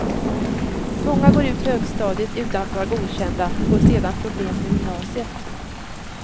Många går ut högstadiet utan att vara godkända får sedan problem på gymnasiet.